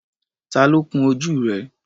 Tá ló kún ojú rẹ̀?